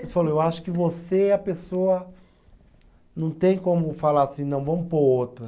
Ele falou, eu acho que você é a pessoa, não tem como falar assim, não, vamos pôr outra.